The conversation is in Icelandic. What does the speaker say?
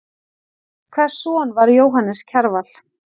Hvers son var Jóhannes Kjarval?